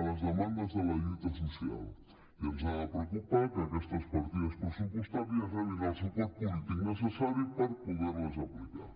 a les demandes de la lluita social i ens ha de preocupar que aquestes partides pressupostàries rebin el suport polític necessari per poder les aplicar